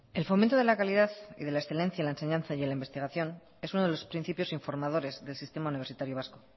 el fomento de la calidad y de la excelencia en la enseñanza y en la investigación es uno de los principios informadores del sistema universitario vasco